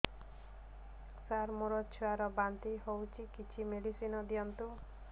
ସାର ମୋର ଛୁଆ ର ବାନ୍ତି ହଉଚି କିଛି ମେଡିସିନ ଦିଅନ୍ତୁ